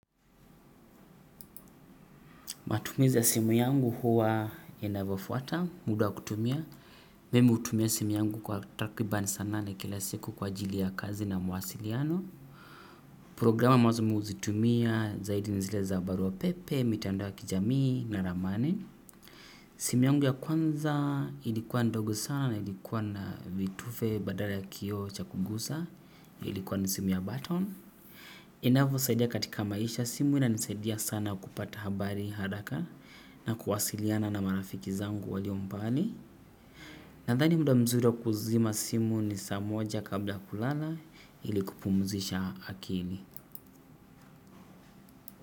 Matumizi ya simu yangu huwa inavyofuata, muda wa kutumia. Mimi hutumia simu kwa takribani saa nane kila siku kwa ajili ya kazi na mawasiliano. Programu lazima huzitumia zaidi ni zile za barua pepe, mitandao ya kijamii na ramani. Simu yangu ya kwanza ilikuwa ndogo sana na ilikuwa na vitufe badala ya kioo cha kugusa. Ilikuwa na simu ya batoni. Inavyosaidia katika maisha simu inanisaidia sana kupata habari haraka. Na kuwasiliana na marafiki zangu walio mbali. Nadhani muda mzuri wa kuzima simu ni saa moja kabla ya kulala ili kupumzisha akili.